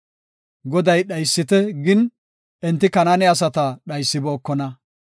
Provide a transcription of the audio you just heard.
Goday dhaysite gin, enti Kanaane asata dhaysibookona.